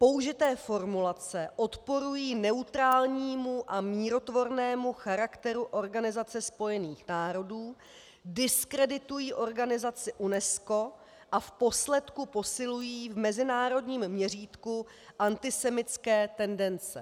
Použité formulace odporují neutrálnímu a mírotvornému charakteru Organizace spojených národů, diskreditují organizaci UNESCO a v posledku posilují v mezinárodním měřítku antisemitské tendence.